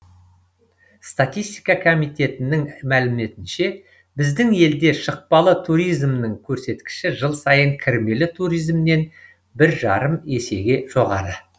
статистика комитетінің мәліметінше біздің елде шықпалы туризмнің көрсеткіші жыл сайын кірмелі туризмнен бір жарым есеге жоғары